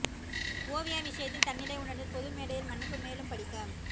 ஓவியா விசயத்தில் தன்னிலை உணர்ந்து பொது மேடையில் மன்னிப்பு மேலும் படிக்க